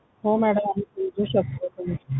हो madam आम्ही समजू शकतो